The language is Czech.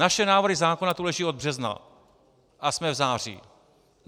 Naše návrhy zákonů tu leží od března - a jsme v září.